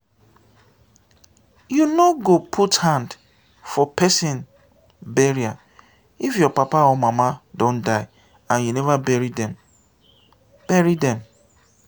you no go put hand for pesin burial if your papa or mama don die and you never bury dem. bury dem.